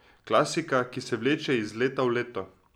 Klasika, ki se vleče iz leta v leto.